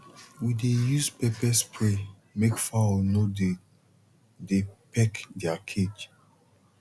we dey use pepper spray make fowl no de dey peck their cage